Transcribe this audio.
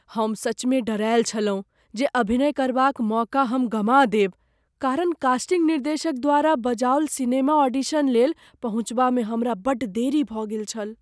हम सचमे डेरायल छलहुँ जे अभिनय करबाक मौका हम गमा देब, कारण कास्टिंग निर्देशक द्वारा बजाओल सिनेमा ऑडिशन लेल पहुँचबामे हमरा बड्ड देरी भऽ गेल छल।